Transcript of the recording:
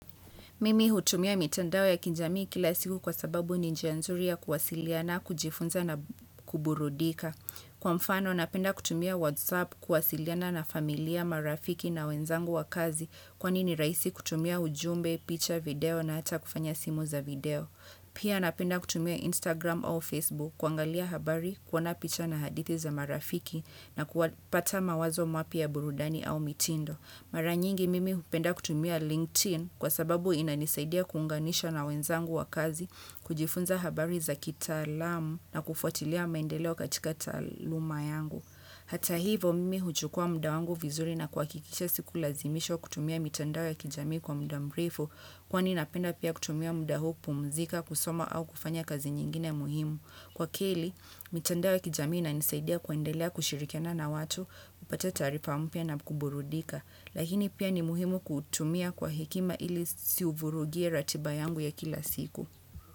Mimi hutumia mitandao ya kijamii kila siku kwa sababu ni njia nzuri ya kuwasiliana, kujifunza na kuburudika. Kwa mfano, napenda kutumia WhatsApp kuwasiliana na familia, marafiki na wenzangu wa kazi kwani ni rahisi kutumia ujumbe, picha video na hata kufanya simu za video. Pia napenda kutumia Instagram au Facebook kuangalia habari kuona picha na hadithi za marafiki na kupata mawazo mapya ya burudani au mitindo. Mara nyingi mimi hupenda kutumia LinkedIn kwa sababu inanisaidia kuunganisha na wenzangu wa kazi kujifunza habari za kitaalamu na kufuatilia maendeleo katika taaluma yangu. Hata hivo mimi huchukua muda wangu vizuri na kuhakikisha sikulazimishwa kutumia mitandao ya kijamii kwa muda mrefu kwani napenda pia kutumia muda huu kupumzika kusoma au kufanya kazi nyingine muhimu. Kwa keli, mitandao ya kijamii inanisaidia kuendelea kushirikiana na watu, kupata taarifa mpya na kuburudika. Lakini pia ni muhimu kuutumia kwa hekima ili siuvurugie ratiba yangu ya kila siku.